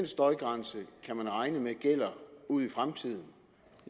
støjgrænse gælder ud i fremtiden